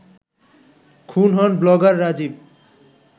খুন হন ব্লগার রাজীব